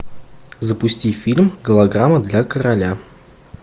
запусти фильм голограмма для короля